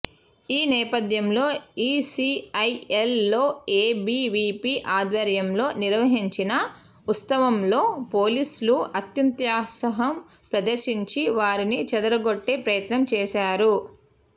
ఈ నేపథ్యంలో ఈసిఐఎల్ లో ఏబివిపి ఆధ్వర్యంలో నిర్వహించిన ఉత్సవంలో పోలీసులు అత్యుత్సాహం ప్రదర్శించి వారిని చెదరగొట్టే ప్రయత్నం చేశారు